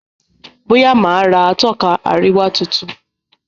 Boya má rà Atọ́ka àríwá títún